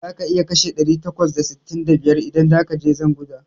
Za ka iya kashe ɗari takwas da sittin da biyar idan zakaje jan guza